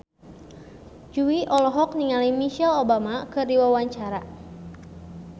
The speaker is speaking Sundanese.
Jui olohok ningali Michelle Obama keur diwawancara